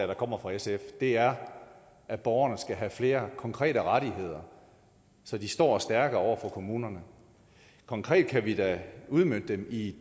der kommer fra sf er at borgerne skal have flere konkrete rettigheder så de står stærkere over for kommunerne konkret kan vi da udmønte det i